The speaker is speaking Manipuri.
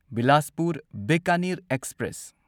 ꯕꯤꯂꯥꯁꯄꯨꯔ ꯕꯤꯀꯅꯤꯔ ꯑꯦꯛꯁꯄ꯭ꯔꯦꯁ